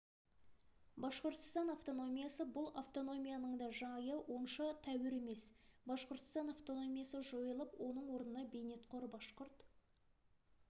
башқұртстан автономиясы бұл автономияның да жайы онша тәуір емес башқұртстан автономиясы жойылып оның орнына бейнетқор башқұрт